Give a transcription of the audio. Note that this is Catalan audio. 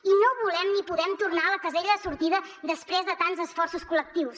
i no volem ni podem tornar a la casella de sortida després de tants esforços col·lectius